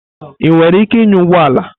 Ị nwere ike ịnya ụgbọ ala?